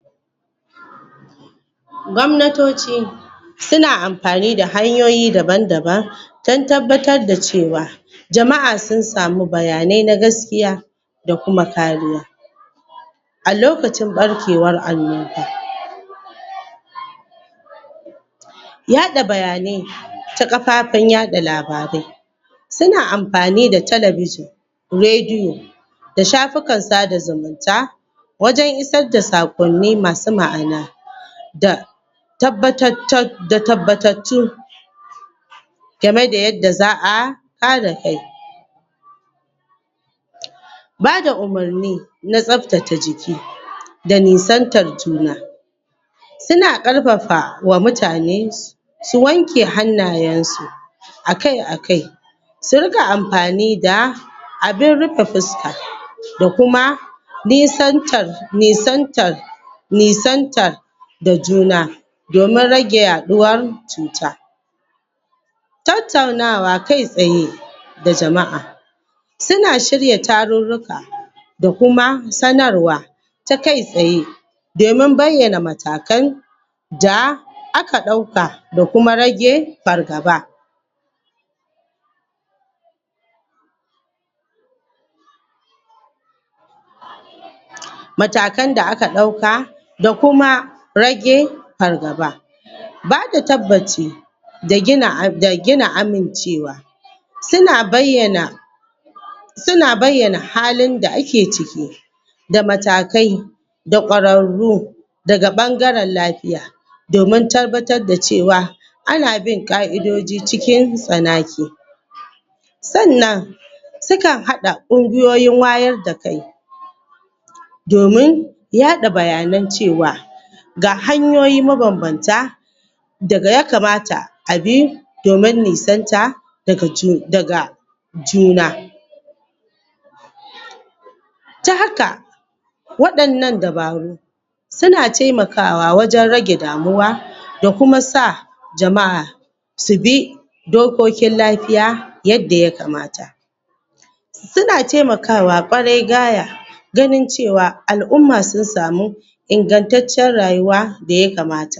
Gwamnatoci suna anfani da hanyoyi daban daban don tabbatar da cewa jamaʼa sun samu bayanai na gaskiya da kuma kariya a lokacin ɓarkewan annoba yaɗa bayanai ta kafafen yaɗa labarai suna anfani da talabijen, radio da shafukan sada zumunta wajen isar da sakonni masu maʼana da tabbabta da tabbabatatu gameda yanda zaʼa haɗakai bada umurni na tsaftace jiki da nisantar juna juna suna ƙarfafawa mutane su su wanke hannayensu akai akai su rika anfani da abin rufe fuska da Kuma Nisantar nisantar Nisantar da juna domin rage yaɗuwar cutan tattaunawa kai tsaye da jamaʼa suna shirya tarurruka da Kuma sanarwa ta kai tsaye domin bayyana matakai da da aka ɗauka da Kuma rage fargaba matakan da aka ɗauka da kuma rage fargaba bada tabbaci da gina amincewa Suna bayyana Suna bayyana halinda ake ciki da matakai da ƙwararru daga ɓangaren lafiya domin tabbatar da cewa ana bin ƙaʼidoji cikin tsanake sannan sukan haɗa ƙungiyoyin wayar da kai domin domin yaɗa bayanan cewa ga hanyoyi mabanbanta daga ya kamata abi domin nisanta daga cu daga juna ta haka waɗannan dabaru suna taimakawa wajen rage damuwa da Kuma sa jama'a su bi subi dokokin lafiya yanda yakamata suna taimakawa ƙwarai gaya ganin cewa alʼumma sun samu ingantaccen rayuwa daya kamata